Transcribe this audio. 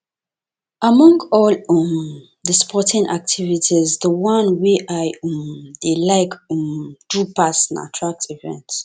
among all um the sporting activities the one wey i um dey like um do pass na track events